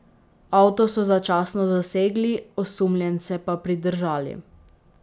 Avto so začasno zasegli, osumljence pa pridržali.